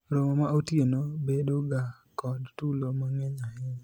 romo ma otieno bedo ga kod tulo mang'eny ahinya